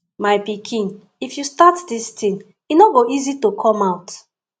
my pikin if you start dis thing e no go easy to come out